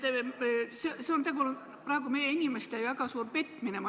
Ma ütleks, et see on tegelikult praegu meie inimeste väga suur petmine.